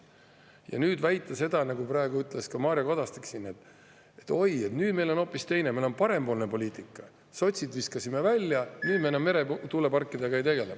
Ja nüüd väidetakse, nagu praegu ütles Mario Kadastik siin, et nüüd on hoopis teine, parempoolne poliitika, sotsid visati välja, nüüd me enam meretuuleparkidega ei tegele.